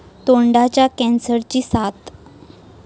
तोंडाच्या कॅन्सरची साथ